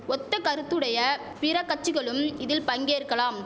ஒத்த கருத்துடைய பிற கச்சிகளும் இதில் பங்கேற்கலாம்